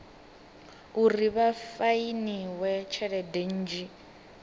uri vha fainiwe tshelede nnzhi